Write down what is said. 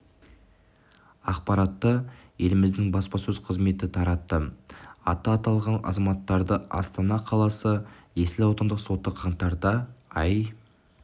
ақпаратты еліміздің баспасөз қызметі таратты аты аталған азаматтарды астана қаласы есіл аудандық соты қаңтарда ай